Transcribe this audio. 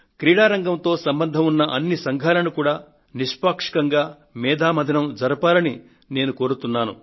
క్రీడారంగంతో సంబంధం ఉన్న అన్నిసంఘాలను కూడా నిష్పాక్షికంగా మేధోమథనం జరపాల్సిందిగా నేను కోరుతున్నాను